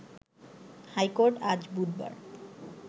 high court আজ বুধবার